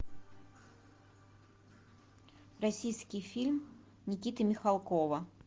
российский фильм никиты михалкова